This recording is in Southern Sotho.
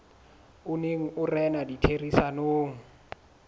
o neng o rena ditherisanong